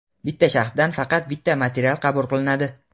Bitta shaxsdan faqat bitta material qabul qilinadi.